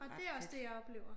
Og det er også det jeg oplever